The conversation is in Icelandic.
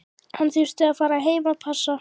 Hann þurfti að fara heim að passa.